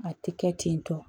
A tɛ kɛ ten tɔ